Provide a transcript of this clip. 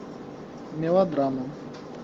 мелодрама